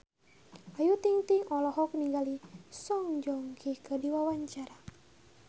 Ayu Ting-ting olohok ningali Song Joong Ki keur diwawancara